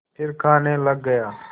फिर खाने लग गया